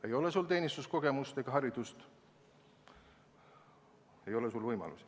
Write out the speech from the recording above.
Kui sul ei ole teenistuskogemust ega haridust, siis ei ole sul ka võimalusi.